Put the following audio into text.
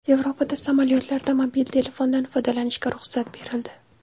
Yevropada samolyotlarda mobil telefondan foydalanishga ruxsat berildi.